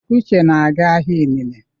Uche na-aga ahịa inine.